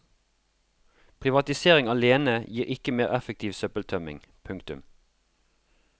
Privatisering alene gir ikke mer effektiv søppeltømming. punktum